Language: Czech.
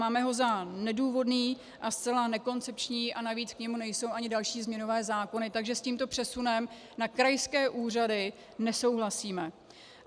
Máme ho za nedůvodný a zcela nekoncepční a navíc k němu nejsou ani další změnové zákony, takže s tímto přesunem na krajské úřady nesouhlasím.